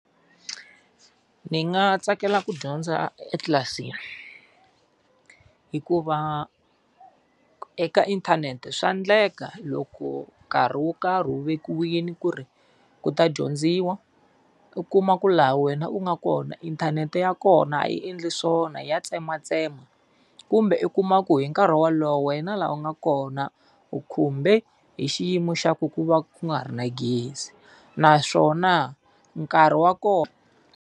Ni nga tsakela ku dyondza etlilasini. Hikuva eka inthanete swa endleka loko nkarhi wo karhi wu vekiwile ku ri ku ta dyondziwa, u kuma ku laha wena u nga kona inthanete ya kona a yi endli swona ya tsematsema. Kumbe u kuma ku hi nkarhi wolowo wena laha u nga kona u khumbe hi xiyimo xa ku ku va ku nga ri na gezi. Naswona nkarhi wa kona.